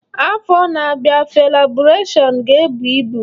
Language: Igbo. Afọ na-abịa Felabration ga-ebụ ibu.